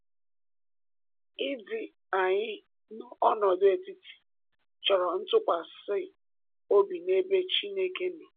Ịdị anyị n’ọnọdụ etiti chọrọ ntụkwasị obi n’ebe Chineke nọ.